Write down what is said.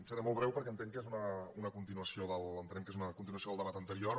seré molt breu perquè entenc que és una continuació entenem que és una continuació del debat anterior